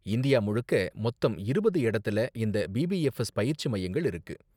India முழுக்க மொத்தம் இருபது இடத்துல இந்த பிபிஎஃப்எஸ் பயிற்சி மையங்கள் இருக்கு.